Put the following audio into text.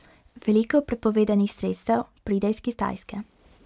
Veliko prepovedanih sredstev pride iz Kitajske.